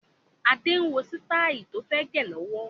Adé ń wo sitai tó fẹ́ gẹ lọ́wọ́